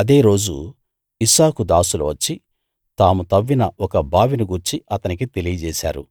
అదే రోజు ఇస్సాకు దాసులు వచ్చి తాము తవ్విన ఒక బావిని గూర్చి అతనికి తెలియజేశారు